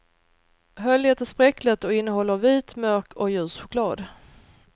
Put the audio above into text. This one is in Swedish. Höljet är spräckligt och innehåller vit, mörk och ljus choklad.